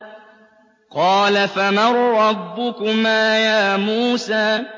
قَالَ فَمَن رَّبُّكُمَا يَا مُوسَىٰ